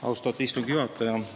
Austatud istungi juhataja!